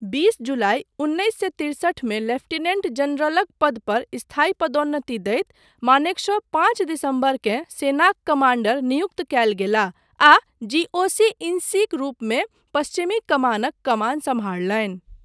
बीस जुलाइ उन्नैस सए तिरसठमे लेफ्टिनेंट जनरलक पद पर स्थायी पदोन्नति दैत, मानेकशॉ पॉँच दिसम्बरकेँ सेनाक कमाण्डर नियुक्त कयल गेलाह आ जीओसी इन सीक रूपमे पश्चिमी कमानक कमान सम्हारलनि।